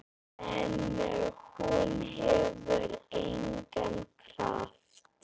En hún hefur engan kraft.